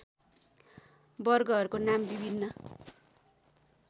वर्गहरूको नाम विभिन्न